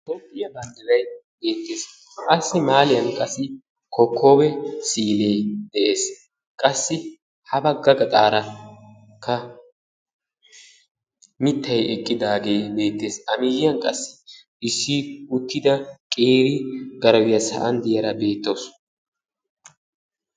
Toophphiyaa banddiray beettees. Assi mahaaliyaan qassi kokoobe siille de'ees. qassi ha baagga gaxaarakka miittay eqqidaagee beettees. A miyiyaan qassi issi uttida qeeri garawiyaa sa'an de'iyaara beetawus.